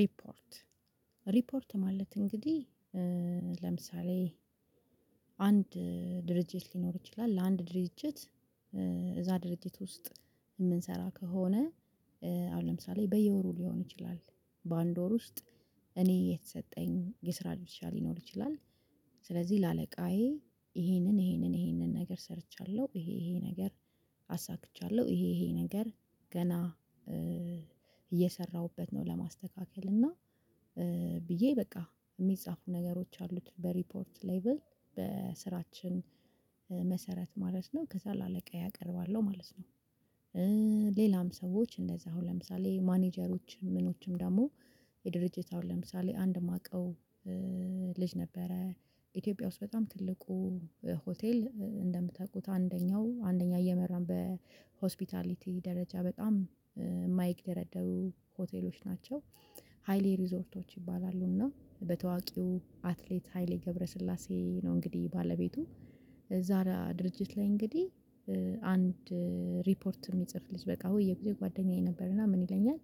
ሪፖርት ሪፖርት ማለት እንግዲህ ለምሳሌ አንድ ድርጅት ሊኖር ይችላል ለአንድ ድርጅት እዛ ድርጅት ውስጥ የምንሰራ ከሆነ። አሁን ለምሳሌ በየወሩ ሊሆን ይችላል በአንድ ወር ውስጥ እኔ የተሰጠኝ የስራ ድርሻ ሊኖር ይችላል። ስለዚህ ለአለቃዬ ይሄንን ይሄንን ይሄንን ነገር ሰርቻለሁ ይሄ ይሄ ነገር አሳክቻለሁ ይሄ ይሄ ነገር ገና እየሰራሁበት ነው ለማስተካከል እና ብዬ በቃ የሚጻፉ ነገሮች አሉት በሪፖርት ሌቭል በስራችን መሰረት ማለት ነው ከዛ ለአለቃዬ አቀርባለው ማለት ነው። ሌላም ሰዎች እንደዛ አሁን ለምሳሌ ማኔጀሮች ምኖችም ደግሞ የድርጅት አሁን ለምሳሌ አንድ የማቀው ልጅ ነበረ ኢትዮጵያ ውስጥ በጣም ትልቁ ሆቴል እንደምታውቁት አንደኛው አንደኛ እየመራን በሆስፒታሊቲ ደረጃ በጣም የማይግደረደሩ ሆቴሎች ናቸው። ሃይሊ ሪዞርቶች ይባላሉ እና በታዋቂው አትሌት ሃይሌ ገብረስላሴ ነው እንግዲህ ባለቤቱ ዛራ ድርጅት ላይ እንግዲህ አንድ ሪፖርት የሚጽፍ ልጅ በቃ ወይ በየጊዜው ጓደኛዬ ነበርና ምን ይለኛል?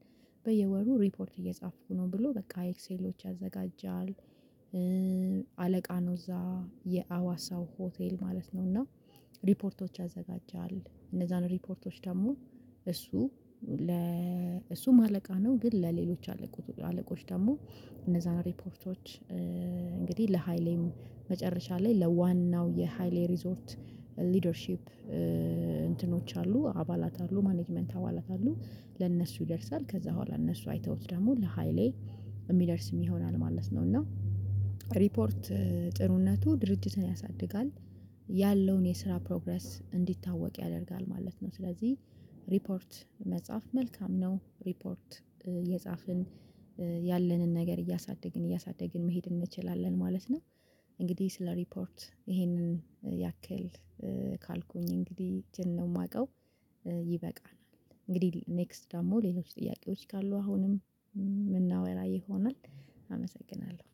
በየወሩ ሪፖርት እየጻፍኩ ነው ብሎ በቃ ኤክሴሎች ያዘጋጃል። አለቃ ነው እዛ የአዋሳው ሆቴል ማለት ነው። እና ሪፖርቶች ያዘጋጃል እነዛን ሪፖርቶች ደግሞ እሱ ለ እሱም አለቃ ነው ግን ለሌሎች አለቆች ደግሞ እነዛን ሪፖርቶች። እንግዲህ ለሃይሌም መጨረሻ ላይ ለዋናው የሃይሌ ሪዞርት ሊደርሺፕ እንትኖች አሉ አባላት አሉ ማኔጅመንት አባላት አሉ ለእነሱ ይደርሳል ከዛ ኋላ እነሱ አይተውት ደግሞ ለሃይሌ የሚደርስም ይሆናል ማለት ነው። እና ሪፖርት ጥሩነቱ ድርጅትን ያሳድጋል ያለውን የስራ ፕሮግረስ እንዲታወቅ ያደርጋል ማለት ነው። ስለዚህ ሪፖርት መጻፍ መልካም ነው ሪፖርት እየጻፍን ያለንን ነገር እያሳደግን እያሳደግን መሄድ እንችላለን ማለት ነው። እንግዲህ ስለ ሪፖርት ይሄንን ያክል ካልኩኝ እንግዲህ እችን ማውቀው ይበቃናል እንግዲህ ኔክስት ደግሞ ሌሎች ጥያቄዎች ካሉ አሁንም የምናወራ ይሆናል። አመሰግናለሁ